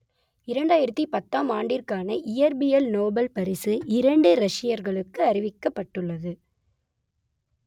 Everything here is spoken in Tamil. இரண்டாயிரத்து பத்தாம் ஆண்டிற்கான இயற்பியல் நோபல் பரிசு இரண்டு ரஷ்யர்களுக்கு அறிவிக்கப்பட்டுள்ளது